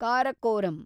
Karakoram